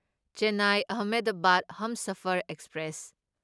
Chennai Ahmedabad Humsafar express